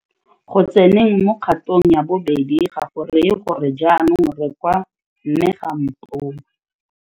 Go tseneng mo kgatong ya bobedi ga go raye gore jaanong re kwa 'mme ga a mpone.